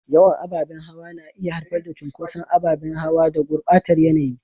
Yawan ababen hawa na iya haifar da cunkoson ababen hawa da gurbatar yanayi.